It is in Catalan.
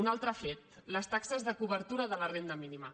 un altre fet les taxes de cobertura de la renda mínima